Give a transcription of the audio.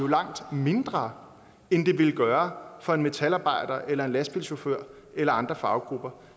langt mindre end det ville gøre for en metalarbejder eller en lastbilchauffør eller andre faggrupper